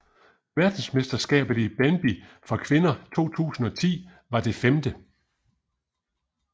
Verdensmesterskabet i bandy for kvinder 2010 var det 5